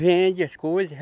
Vende as coisa.